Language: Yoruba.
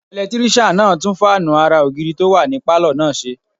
Ẹlẹtírísíàn náà tún fáànù ara ògiri tó wà ní pálọ̀ náà ṣe